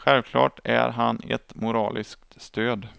Självklart är han ett moraliskt stöd.